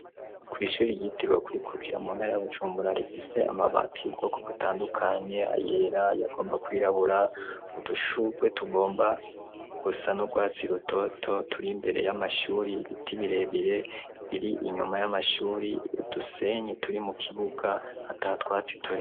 Kw'ishuri yitirwe kwikukira muntara y'bujumburarifise amabatiy' ubwoko gutandukanye ayera yagomba kwirabura udushurwe tugomba gusa n'urwatsi rutoto turi imbere y'amashuri ibiti birebire biri inyuma y'amashuri udusenye turi mu kibuga ata twatsi turi.